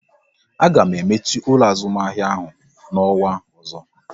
A ga emechi ụlọ azụmahịa ahụ n'ọnwa ọzọ